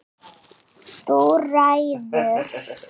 Þú ræður.